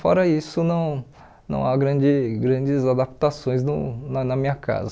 Fora isso, não não há grande grandes adaptações no na na minha casa.